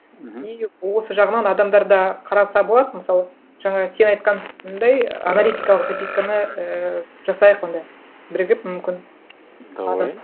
мхм и осы жағынан адамдар да қараса болады мысалы жаңа сен айтқандай аналитикалық записканы ыыы жасайық онда бірігіп мүмкін давай